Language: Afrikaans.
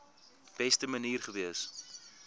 beste manier gewees